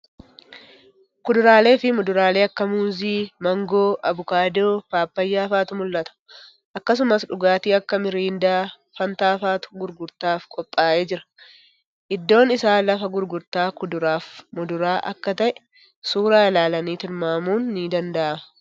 Kuduraalee fii muduraalee akka Muuzii, Maangoo, Abukaadoo, Paappayyaa fa'atu mul'ata. Akkasumas dhugaatii akka Miriindaa, Faantaa fa'atu gurgurtaaf qophaa'ee jira. Iddoon isaa lafa gurgurtaa kuduraaf muduraa akka ta'e suuraa ilaalanii tilmaamun ni danda'ama.